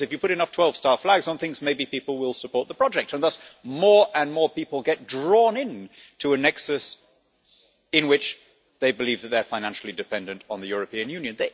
In other words, if you put enough 12-star flags on things, maybe people will support the project, and thus more and more people get drawn into a nexus in which they believe that they are financially dependent on the European Union.